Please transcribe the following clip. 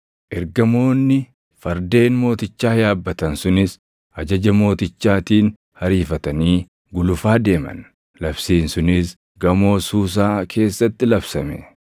Ergamoonni fardeen mootichaa yaabbatan sunis ajaja mootichaatiin ariifatanii gulufaa deeman. Labsiin sunis gamoo Suusaa keessatti labsame.